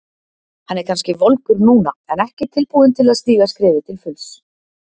Hann er kannski volgur núna en ekki tilbúinn til að stíga skrefið til fulls.